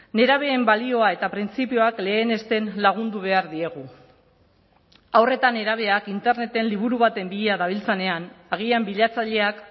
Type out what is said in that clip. nerabeen balioa eta printzipioak lehenesten lagundu behar diegu haur eta nerabeak interneten liburu baten bila dabiltzanean agian bilatzaileak